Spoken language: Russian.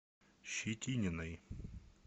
щетининой